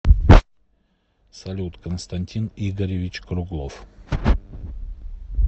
салют константин игоревич круглов